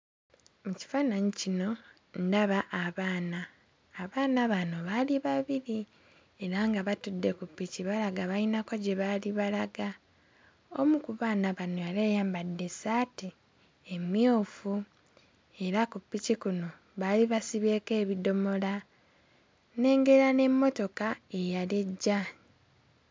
Mu kifaananyi kino ndaba abaana. Abaana bano baali babiri era nga batudde ku ppiki balaga bayinako gye baali balaga. Omu ku baana bano yali ayambadde essaati emmyufu era ku ppiki kuno baali basibyeko ebidomola, nnengera n'emmotoka eyali ejja.